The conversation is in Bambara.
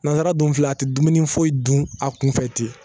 Nanzara dun filɛ a tɛ dumuni foyi dun a kun fɛ ten